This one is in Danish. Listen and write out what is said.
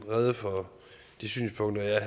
rede for de synspunkter jeg